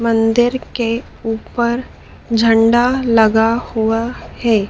मंदिर के ऊपर झंडा लगा हुआ है।